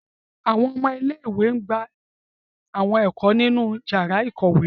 Awọn ọmọ ìlé-ìwé gba awọn ẹko ninu yara ikowe